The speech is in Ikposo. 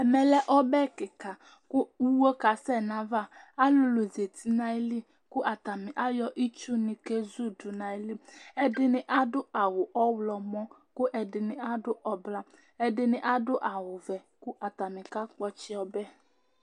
Ɛmɛlɛ ɔbɛ kìka kʋ iwe kasɛ nʋ ava Alulu zɛti nʋ ayìlí kʋ atani ayɔ itsu kezudu nʋ ayìlí Ɛdiní adu awu ɔwlɔmɔ kʋ ɛdiní adu ɛblɔ, ɛdiní adu awu ɔvɛ kʋ atani kakpɔ ɔtsɛ